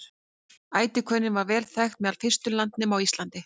ætihvönnin var vel þekkt meðal fyrstu landnema á íslandi